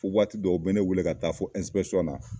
Fo waati dɔw u bɛ ne welee ka taa fo na.